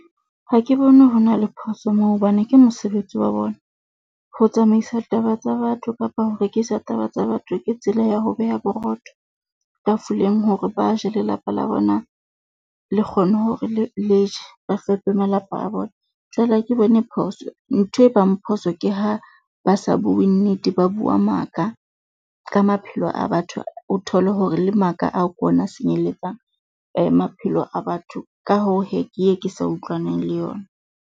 Ha ke bone ho na le phoso moo hobane ke mosebetsi wa bona. Ho tsamaisa taba tsa batho kapa ho rekisa taba tsa batho, ke tsela ya ho beha borotho tafoleng hore ba je, lelapa la bona le kgone hore le leje ba fepe malapa a bona. Jwale ha ke bone phoso ntho e bang phoso ke ha ba sa bue nnete. Ba bua maka ka maphelo a batho. O thole hore le maka ao ke ona senyeletsang maphelo a batho. Ka hoo hee ke ye ke sa utlwane le yona.